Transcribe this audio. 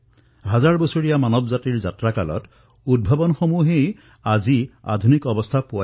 সহস্ৰাধিক বৰ্ষৰ মানৱ জাতিৰ যাত্ৰা নিৰৱচ্ছন্নি উদ্ভাৱনৰ দ্বাৰাই আধুনিকতম ৰূপ লাভ কৰিছে